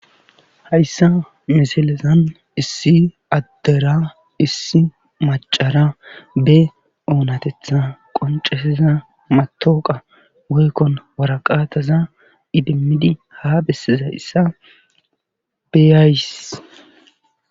hayssa misilezan issi addera issi macara be oonatetha qoncesiza matooqa goykkon waraqaataza idimmidi ha bessiza issa beyays